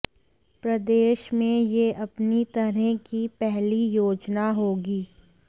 प्रदेश में यह अपनी तरह की पहली योजना होगी